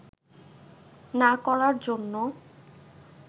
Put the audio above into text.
না করার জন্য